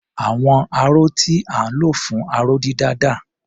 Àwọn aró tí à ń lò fún aró-dídà dà?